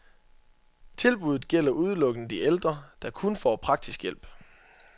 Tilbuddet gælder udelukkende de ældre, der kun får praktisk hjælp.